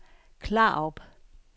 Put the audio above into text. Klarup